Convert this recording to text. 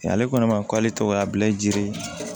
Ale ko ne ma k'ale tɔgɔ ye bilen